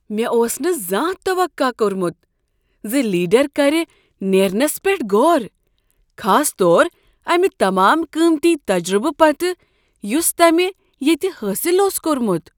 مےٚ اوس نہٕ زانہہ توقع کوٚرمت ز لیڈر کرِ نیرنس پیٹھ غور، خاص طور امہ تمام قیمتی تجربہٕ پتہٕ یس تَمِہ ییٚتہ حٲصل اوس کوٚرمت۔